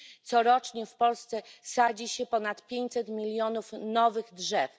Corocznie w Polsce sadzi się ponad pięćset milionów nowych drzew.